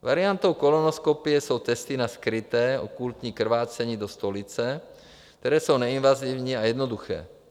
Variantou kolonoskopie jsou testy na skryté - okultní - krvácení do stolice, které jsou neinvazivní a jednoduché.